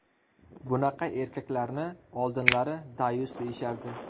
Bunaqa erkaklarni oldinlari dayus deyishardi.